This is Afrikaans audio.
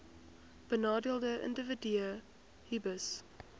benadeelde individue hbis